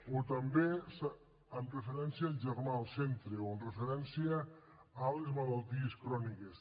o també amb referència al germà al centre o amb referència a les malalties cròniques